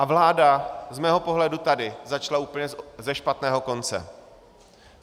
A vláda z mého pohledu tady začala úplně ze špatného konce.